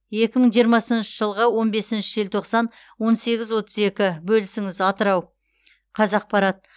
екі мың жиырмасыншы жылғы он бесінші желтоқсан он сегіз отыз екі бөлісіңіз атырау қазақпарат